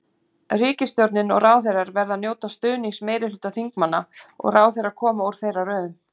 Ríkisstjórnin og ráðherrar verða að njóta stuðnings meirihluta þingmanna og ráðherrar koma úr þeirra röðum.